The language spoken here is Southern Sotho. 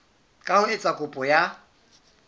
ka ho etsa kopo ya